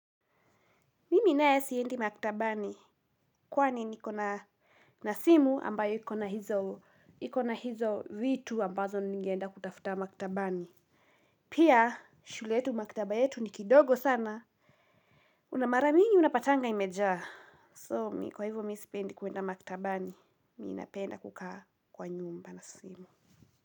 Mimi nae siendi maktabani kwani niko na na simu ambayo iko na hizo vitu ambazo ningeenda kutafuta maktabani. Pia shule yetu maktaba yetu ni kidogo sana. Una maramingi unapatanga imejaa. So mi kwa hivyo mi sipendi kuenda maktabani mi napenda kukaa kwa nyumba na simu.